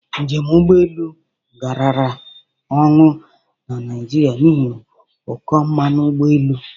Njem ụgbọ elu garara ọnụ na Naijiria n'ihi ụkọ mmanụ ụgbọ elu.